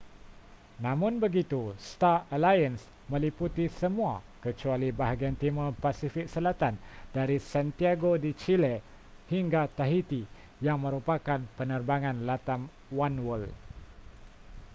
namun begitu star alliance meliputi semua kecuali bahagian timur pasifik selatan dari santiago de chile hingga tahiti yang merupakan penerbangan latam oneworld